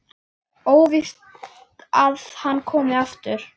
Óvíst að hann komi aftur.